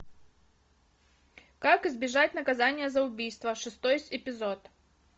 как избежать наказания за убийство шестой эпизод